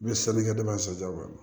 N bɛ sanni kɛ ne bɛ ka so ja kɔnɔ